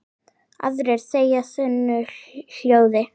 Aðrir þegja þunnu hljóði.